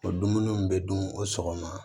O dumuni min bɛ dun o sɔgɔma